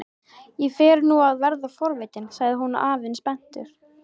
Ég fer nú að verða forvitinn sagði þá afinn spenntur.